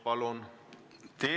Palun!